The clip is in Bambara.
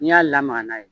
N'i y'a lamaga n'a ye